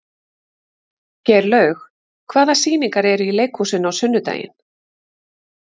Geirlaug, hvaða sýningar eru í leikhúsinu á sunnudaginn?